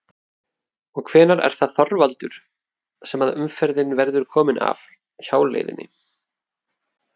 Og hvenær er það Þorvaldur sem að umferðin verður komin af hjáleiðinni?